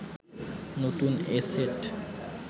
নতুন এ সেট